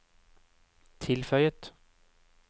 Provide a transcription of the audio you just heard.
tilføyet